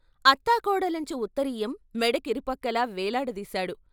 అత్తాకోడలంచు ఉత్తరీయం మెడ కిరుపక్కలా వేలాడదీశాడు.